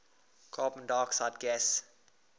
carbon dioxide gas